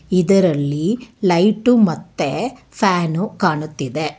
ಇದರಲ್ಲಿ ಲೈಟು ಮತ್ತೆ ಫ್ಯಾನು ಕಾಣುತ್ತಿದೆ.